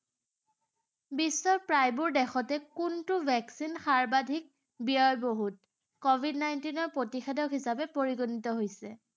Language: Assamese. বিশ্বৰ প্ৰায়বোৰ দেশতে কোনটো vaccine সৰ্বাধিক ব্যয়বহুল covid nineteen ৰ প্ৰতিষেধক হিচাপে পৰিগণিত হৈছে?